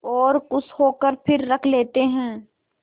और खुश होकर फिर रख लेते हैं